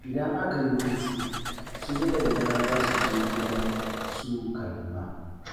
Idan aka yi hutu, su Zubaida za su je gidan su Karima.